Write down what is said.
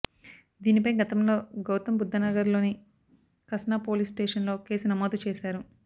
దీనిపై గతంలో గౌతమ్ బుద్ధ నగర్ లోని కస్నా పోలీస్ స్టేషన్ లో కేసు నమోదు చేశారు